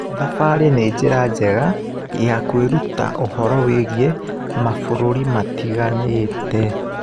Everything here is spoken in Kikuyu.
Thabarĩ nĩ njĩra njega ya kwĩruta ũhoro wĩgiĩ mabũrũri matiganĩte.